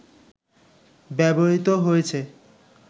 ব্যবহৃত হয়েছে